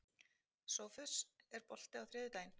Sófus, er bolti á þriðjudaginn?